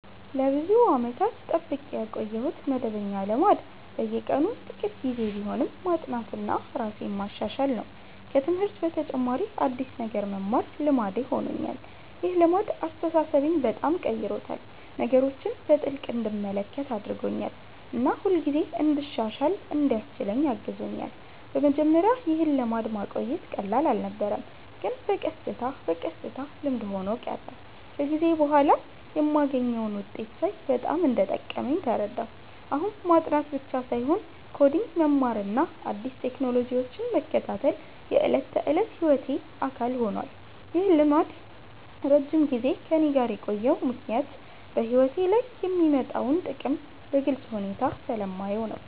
ለብዙ ዓመታት የጠብቄ ያቆየሁት መደበኛ ልማድ በየቀኑ ጥቂት ጊዜ ቢሆንም ማጥናትና ራሴን ማሻሻል ነው። ከትምህርት በተጨማሪ አዲስ ነገር መማር ልማዴ ሆኖኛል። ይህ ልማድ አስተሳሰቤን በጣም ቀይሮታል፤ ነገሮችን በጥልቅ እንድመለከት አድርጎኛል እና ሁልጊዜ እንድሻሻል እንዲያስችለኝ አግዞኛል። በመጀመሪያ ይህን ልማድ ማቆየት ቀላል አልነበረም፣ ግን በቀስታ በቀስታ ልምድ ሆኖ ቀረ። ከጊዜ በኋላ የማገኘውን ውጤት ሳይ በጣም እንደጠቀመኝ ተረዳሁ። አሁን ማጥናት ብቻ ሳይሆን ኮዲንግ መማርና አዲስ ቴክኖሎጂዎችን መከታተል የዕለት ተዕለት ሕይወቴ አካል ሆኗል። ይህ ልማድ ለረጅም ጊዜ ከእኔ ጋር የቆየው ምክንያት በሕይወቴ ላይ የሚያመጣውን ጥቅም በግልጽ ሁኔታ ስለማየው ነው።